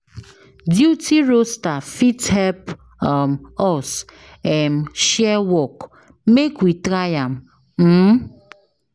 Duty roaster fit help ehm us share work, make we try am uhm.